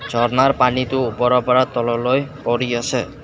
ঝৰ্ণাৰ পানীটো ওপৰৰ পৰা তললৈ পৰি আছে।